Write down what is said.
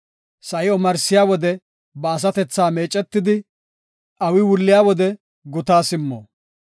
Sa7i omarsiya wode ba asatethaa meecetidi, awi wulliya wode gutaa simmo.